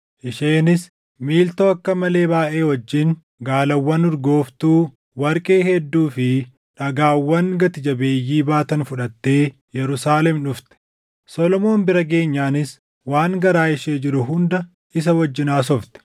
Isheenis miiltoo akka malee baayʼee wajjin gaalawwan urgooftuu, warqee hedduu fi dhagaawwan gati jabeeyyii baatan fudhattee Yerusaalem dhufte; Solomoon bira geenyaanis waan garaa ishee jiru hunda isa wajjin haasofte.